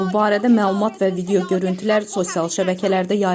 Bu barədə məlumat və video görüntülər sosial şəbəkələrdə yayılıb.